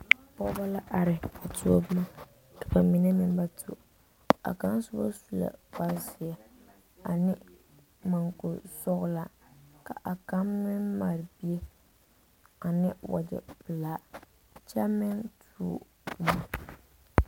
Pɔgeba la are a tuo boma ka ba mine meŋ ba tuo a kaŋa soba sue kpare zeɛ ane munguri sɔglaa ka a kaŋa meŋ mare bie ane wagyɛ pelaa kyɛ meŋ tuo boma.